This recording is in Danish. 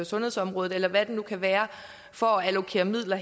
sundhedsområdet eller hvad det nu kan være for at allokere midler